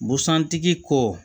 Busan tigi ko